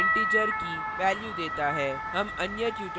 यह type integer की value देता है